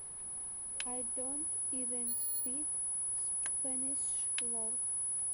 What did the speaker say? ай донт ивен спик спэниш лол